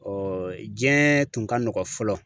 jiyɛn tun ka nɔgɔn fɔlɔ.